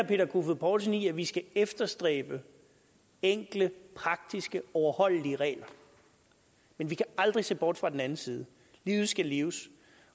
peter kofod poulsen i at vi skal efterstræbe enkle praktiske overholdelige regler men vi kan aldrig se bort fra den anden side livet skal leves